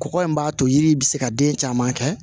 Kɔgɔ in b'a to yiri bɛ se ka den caman kɛ